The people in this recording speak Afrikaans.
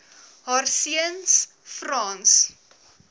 haar seuns frans